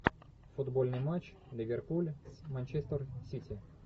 футбольный матч ливерпуль с манчестер сити